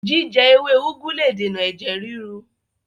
Jíjẹ ewé úgú le dènà ẹ̀jẹ̀ ríru